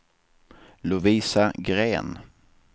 Lovisa Green